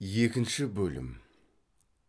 екінші бөлім